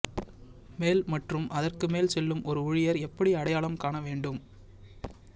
மேல் மற்றும் அதற்கு மேல் செல்லும் ஒரு ஊழியர் எப்படி அடையாளம் காண வேண்டும்